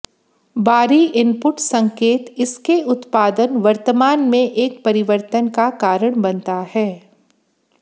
बारी इनपुट संकेत इसके उत्पादन वर्तमान में एक परिवर्तन का कारण बनता है